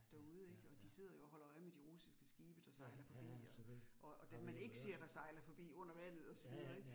Derude ik. Og de sidder jo og holder øje med de russiske skibe, der sejler forbi og og dem man, ikke ser, der sejler forbi under vandet og så videre ik